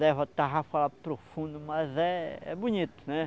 Leva a tarrafa lá para o fundo, mas é é bonito, né?